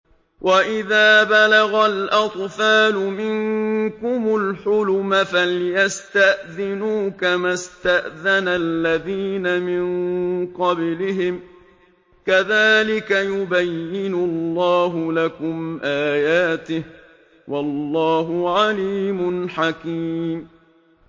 وَإِذَا بَلَغَ الْأَطْفَالُ مِنكُمُ الْحُلُمَ فَلْيَسْتَأْذِنُوا كَمَا اسْتَأْذَنَ الَّذِينَ مِن قَبْلِهِمْ ۚ كَذَٰلِكَ يُبَيِّنُ اللَّهُ لَكُمْ آيَاتِهِ ۗ وَاللَّهُ عَلِيمٌ حَكِيمٌ